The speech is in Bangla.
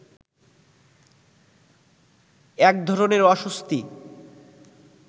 একধরনের অস্বস্তি